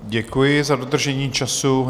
Děkuji za dodržení času.